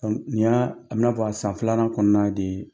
Ɲina a bɛ i n'a fɔ a san filanan kɔnɔna de ye